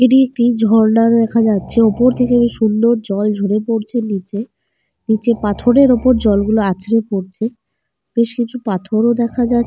এটি একটি ঝর্ণা দেখা যাচ্ছে। ওপর থেকে বেশ সুন্দর জল ঝরে পড়ছে নিচে। নিচে পাথরের ওপর জলগুলো আঁচড়ে পড়ছে। বেশ কিছু পাথর ও দেখা যাহ --